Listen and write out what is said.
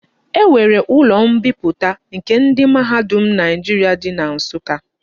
E nwere ulo mbiputa nke ndi mahadum Naijiria di na Nsuka.